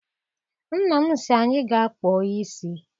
Nna m sị anyị gaa kpụọ isi.